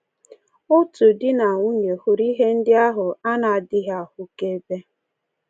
Otu di na nwunye hụrụ ihe ndị ahụ a na-adịghị ahụkebe.